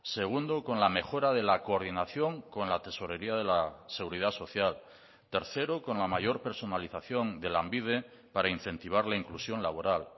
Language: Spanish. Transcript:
segundo con la mejora de la coordinación con la tesorería de la seguridad social tercero con la mayor personalización de lanbide para incentivar la inclusión laboral